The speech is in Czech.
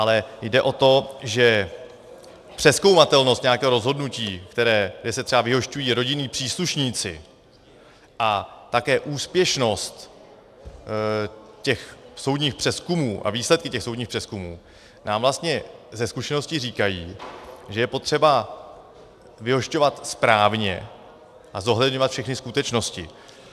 Ale jde o to, že přezkoumatelnost nějakého rozhodnutí, kde se třeba vyhošťují rodinní příslušníci, a také úspěšnost těch soudních přezkumů a výsledky těch soudních přezkumů nám vlastně ze zkušenosti říkají, že je potřeba vyhošťovat správně a zohledňovat všechny skutečnosti.